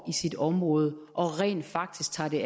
i sit område og rent faktisk tager det